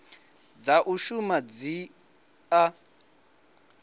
dza u shuma i a